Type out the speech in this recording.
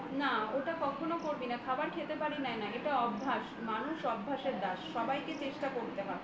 না ওটা কখনোই করবি না খাবার খেতে পারি না না এটা অভ্যাস মানুষ অভ্যাসের দাস সবাইকে চেষ্টা করতে হয়